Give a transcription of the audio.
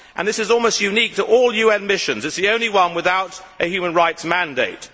This is almost unique among all UN missions it is the only one without a human rights mandate.